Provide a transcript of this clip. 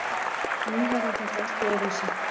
Nú verður þetta allt öðruvísi.